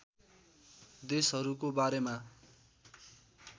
देशहरूको बारेमा